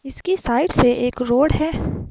इसकी साइड से एक रोड है।